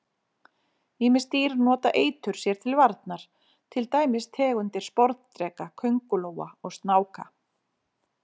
Ýmis dýr nota eitur sér til varnar, til dæmis tegundir sporðdreka, köngulóa og snáka.